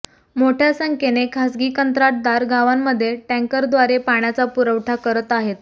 मोठय़ा संख्येने खासगी कंत्राटदार गावांमध्ये टँकरद्वारे पाण्याचा पुरवठा करत आहेत